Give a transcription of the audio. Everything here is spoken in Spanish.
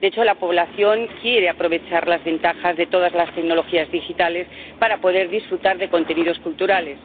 De hecho, la población quiere aprovechar las ventajas de todas las tecnologías digitales para poder disfrutar de contenidos culturales.